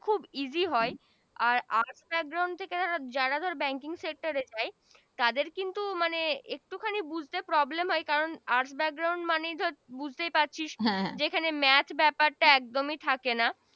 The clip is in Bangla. খুব Easy হয় আর Arts থেকে যারা যারা banking sector এ যায় । তাদের কিন্তু মানে একটু খানি বুঝতে Problem হয় কারন arts মানে ধর বুঝতেই পারছিস হ্যা যেখানে Math ব্যাপার টা একদমি থাকে না